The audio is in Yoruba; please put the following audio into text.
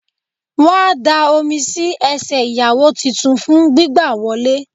Wón á da Omi sí ẹsẹ̀ ìyàwó titun fún gbígbà á wọlé